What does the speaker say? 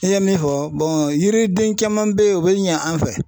I ye min fɔ yiriden caman bɛ ye o bɛ ɲɛ an fɛ.